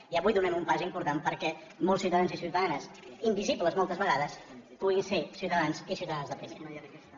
i avui donem un pas important perquè molts ciutadans i ciutadanes invisibles moltes vegades puguin ser ciutadans i ciutadanes de primera